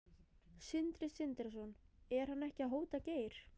Sindri Sindrason: Er hann ekki að hóta Geir?